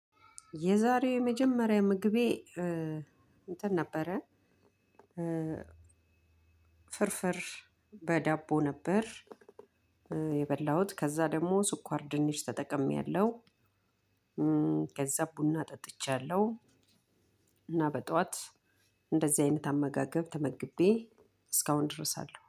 የዛሬው የመጀመሪያ ምግቤ እንትን ነበረ። ፍርፍር በዳቦ ነበር የበላሁት። ከዛ ደግሞ ስኳር ድንች ተጠቅሜያለሁ። ከዛ ቡና ጠጥቻለሁ። እና በጧት እንደዚህ አይነት አመጋገብ ተመግቤ እስካሁን ድረስ አለው።